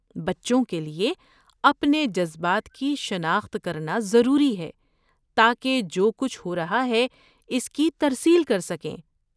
بچوں کے لیے اپنے جذبات کی شناخت کرنا ضروری ہے تاکہ جو کچھ ہو رہا ہے اس کی ترسیل کر سکیں۔